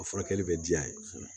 A furakɛli bɛ diya ye kosɛbɛ